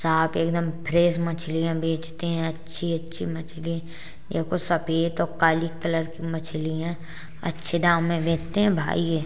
यहां पे एक दम फ्रेश मछलियाँ बेचते हैं अच्छी- अच्छी मछली ये कुछ सफ़ेद और काली कलर की मछली हैं अच्छे दाम में बेचते हैं भाई ये।